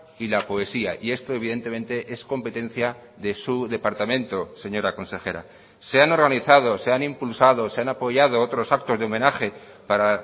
y la poesía y esto evidentemente es competencia de su departamento señora consejera se han organizado se han impulsado se han apoyado otros actos de homenaje para